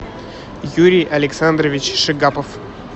юрий александрович шигапов